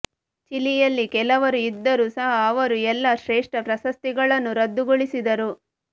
ಚಿಲಿಯಲ್ಲಿ ಕೆಲವರು ಇದ್ದರೂ ಸಹ ಅವರು ಎಲ್ಲ ಶ್ರೇಷ್ಠ ಪ್ರಶಸ್ತಿಗಳನ್ನು ರದ್ದುಗೊಳಿಸಿದರು